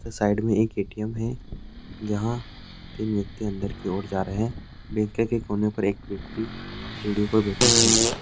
Side में एक ATM है। जहां तीन व्यक्ति अंदर की ओर जा रहे हैं। बैंक के कोने पर एक व्यक्ति वीडियो पर बैठा है।